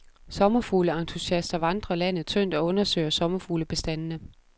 Sommerfugleentusiaster vandrer landet tyndt og undersøger sommerfuglebestandene.